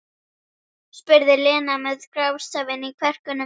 spurði Lena með grátstafinn í kverkunum.